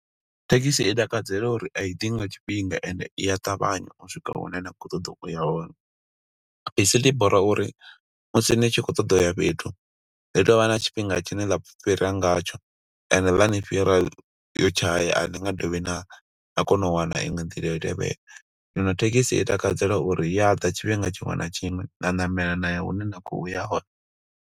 Thekhisi i takadzela uri a i ḓi nga tshifhinga ende i a ṱavhanya u swika hune nda khou ṱoḓa uya hone. Bisi ḽi bora uri musi ni tshi khou ṱoḓa uya fhethu, ḽi tovha na tshifhinga tshine ḽa fhira nga tsho. Ende ḽa ni fhira, yo tshaya, a ni nga dovhi na na kona u wana iṅwe nḓila yo tevhela. Zwino thekhisi i takadzela uri iya ḓa tshifhinga tshiṅwe na tshiṅwe, na ṋamela na ya hune na khou ya hone.